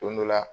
Don dɔ la